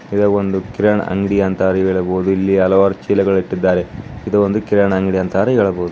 ಇದು ಒಂದು ಕಿರಾಣಿ ಅಂಗಡಿ ಅಂತ ಹೇಳಬಹುದು ಇಲ್ಲಿ ಹಲವಾರು ಚೀಲಗಳು ಇಟ್ಟಿದ್ದಾರೆ. ಇದು ಒಂದು ಕಿರಾಣಿ ಅಂಗಡಿ ಅಂತ ಹೇಳಬಹುದು.